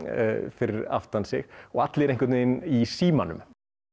fyrir aftan sig og allir í símanum